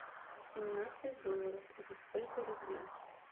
семнадцать долларов это сколько рублей